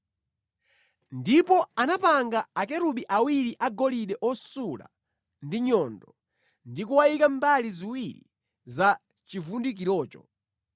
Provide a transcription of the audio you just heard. Ndipo anapanga Akerubi awiri agolide osula ndi nyundo ndi kuwayika mbali ziwiri za chivundikirocho.